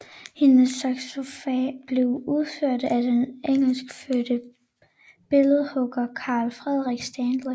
Hendes sarkofag blev udført af den engelskfødte billedhugger Carl Frederik Stanley